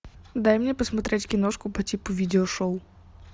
дай мне посмотреть киношку по типу видео шоу